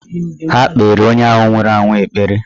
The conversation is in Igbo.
Ha kpeere onye ahụ nwụrụ anwụ ekpere.